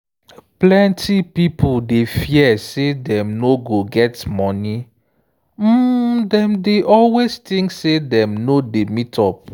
plenty pipo dey fear say dem no go get money um dem dey always think say dem no dey meet up.